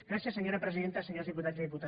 gràcies senyora presidenta senyors diputats i diputades